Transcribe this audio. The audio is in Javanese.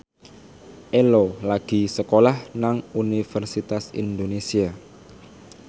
Ello lagi sekolah nang Universitas Indonesia